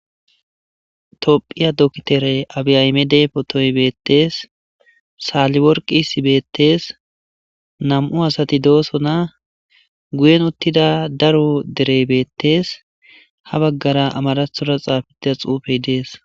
toophiya dokitere abiyaymede potoy bettees saalliworqi sibeettees nam7u asati doosona guyen uttida daro derey beettees ha baggara amarathora xaafitida xuufey dees